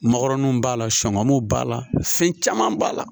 Mɔgɔrɔninw b'a la sɔngɔw b'a la fɛn caman b'a la